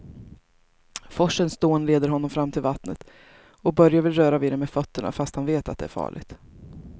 Forsens dån leder honom fram till vattnet och Börje vill röra vid det med fötterna, fast han vet att det är farligt.